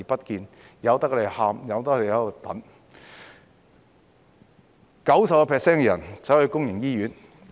有 90% 的病人前往公營醫院。